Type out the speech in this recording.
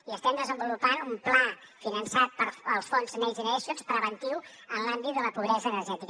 i estem desenvolupant un pla finançat pels fons next generation preventiu en l’àmbit de la pobresa energètica